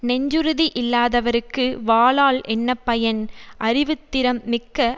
நெஞ்சுறுதி இல்லாதவர்க்கு வாளால் என்ன பயன் அறிவுத்திறம் மிக்க